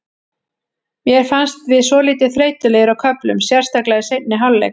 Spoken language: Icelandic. Mér fannst við svolítið þreytulegir á köflum, sérstaklega í seinni hálfleik.